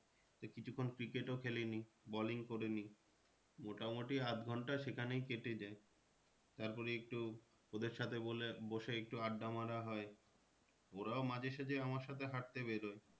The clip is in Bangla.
কিছুক্ষন cricket ও খেলে নিই bowling করে নিই। মোটামুটি আধঘন্টা সেখানেই কেটে যায়। তারপরে একটু ওদের সাথে বলে, বসে একটু আড্ডা মারা হয় ওরাও মাঝে সাজে আমার সাথে হাঁটতে বেরোয়।